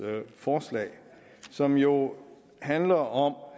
forslag som jo handler om